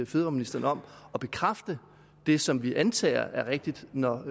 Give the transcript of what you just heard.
fødevareministeren om at bekræfte det som vi antager er rigtigt når